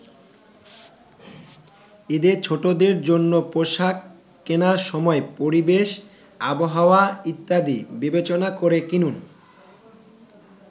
ঈদে ছোটদের জন্য পোশাক কেনার সময় পরিবেশ, আবহাওয়া ইত্যাদি বিবেচনা করে কিনুন।